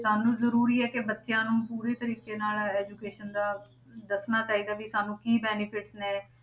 ਸਾਨੂੰ ਜ਼ਰੂਰੀ ਹੈ ਕਿ ਬੱਚਿਆਂ ਨੂੰ ਪੂਰੀ ਤਰੀਕੇ ਨਾਲ education ਦਾ ਦੱਸਣਾ ਚਾਹੀਦਾ ਵੀ ਸਾਨੂੰ ਕੀ benefit ਨੇ